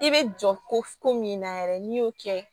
I bɛ jɔ ko ko min na yɛrɛ n'i y'o kɛ